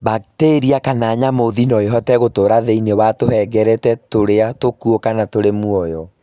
Bakteria kana njamuthi noĩhote gũtũra thĩinĩ wa tũhengereta tũrĩa tũkuo kana tũrĩ mũoyo